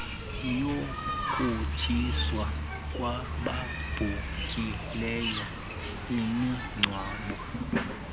yokutshiswa kwababhuhileyo imingcwabo